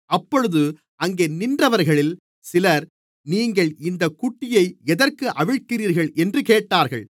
அப்பொழுது அங்கே நின்றவர்களில் சிலர் நீங்கள் இந்தக் குட்டியை எதற்கு அவிழ்க்கிறீர்கள் என்றுக் கேட்டார்கள்